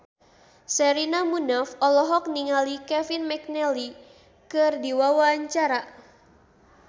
Sherina Munaf olohok ningali Kevin McNally keur diwawancara